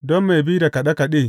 Don mai bi da kaɗe kaɗe.